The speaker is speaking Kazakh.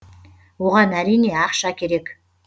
оған әрине ақша керек